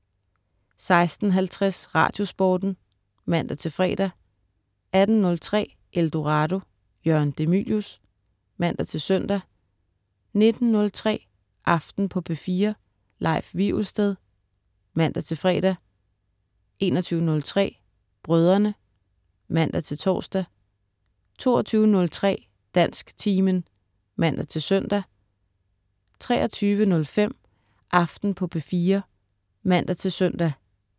16.50 Radiosporten (man-fre) 18.03 Eldorado. Jørgen de Mylius (man-søn) 19.03 Aften på P4. Leif Wivelsted (man-fre) 21.03 Brødrene* (man-tors) 22.03 Dansktimen (man-søn) 23.05 Aften på P4 (man-søn)